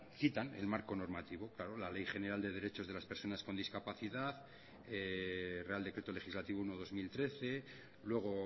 citan el marco normativo claro la ley general de derechos de las personas con discapacidad real decreto legislativo uno barra dos mil trece luego